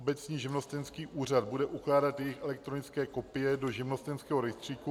Obecní živnostenský úřad bude ukládat jejich elektronické kopie do živnostenského rejstříku.